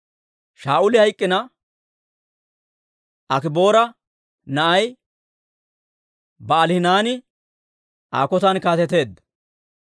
Shaa'uli hayk'k'ina, Akiboora na'ay Ba'aalihanaani Aa kotan kaateteedda.